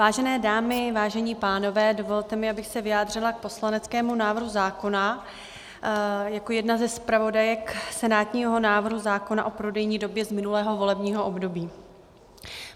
Vážené dámy, vážení pánové, dovolte mi, abych se vyjádřila k poslaneckému návrhu zákona jako jedna ze zpravodajek senátního návrhu zákona o prodejní době z minulého volebního období.